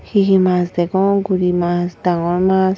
he he mash degong guri mash danngor mash.